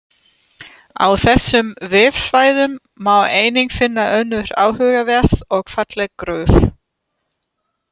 Á þessum vefsvæðum má einnig finna önnur áhugaverð og falleg gröf.